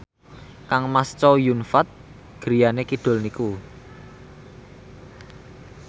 kangmas Chow Yun Fat griyane kidul niku